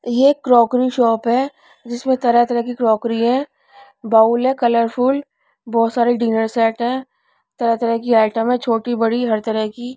ये एक crockery shop है जिसमें तरह तरह की क्रॉकरी है बाउल है कलरफुल बहुत सारे डिनर सेट हैं तरह तरह की आइटम हैं छोटी बड़ी हर तरह की।